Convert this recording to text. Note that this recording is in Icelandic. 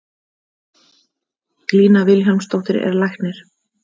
Lína Vilhjálmsdóttir er læknir.